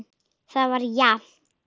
Það var jafnt.